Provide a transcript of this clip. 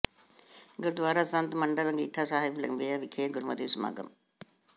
ਗੁਰਦੁਆਰਾ ਸੰਤ ਮੰਡਲ ਅੰਗੀਠਾ ਸਾਹਿਬ ਲੰਬਿਆਂ ਵਿਖੇ ਗੁਰਮਤਿ ਸਮਾਗਮ